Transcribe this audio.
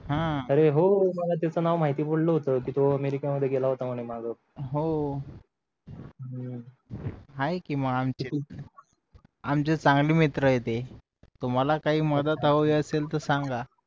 अरे हो मला त्याच नाव माहिती पडलं होत कि तो अमेरिका मध्ये गेला होता मागे हम्म आहे कि आमचे आमचे चांगले मित्र आहे ते तुम्हाला काही मदत हवी असेल तर सान्गा